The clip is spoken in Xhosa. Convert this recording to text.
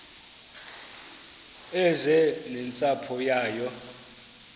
eze nentsapho yayo